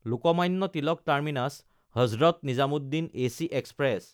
Lokmanya Tilak টাৰ্মিনাছ–হজৰত Nizamuddin AC express